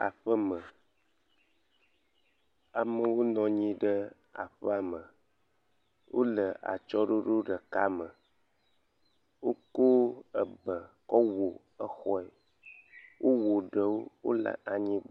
Aƒeme. Amewo nɔ anyi ɖe aƒeame. Wo le atsɔɖoɖo ɖeka me. Wokɔ ebe kɔ wɔ exɔe. wowɔ ɖewo wo le anyi.